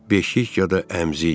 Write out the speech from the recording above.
Beşik ya da əmzik.